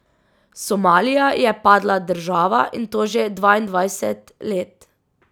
Somalija je padla država, in to že dvaindvajset let.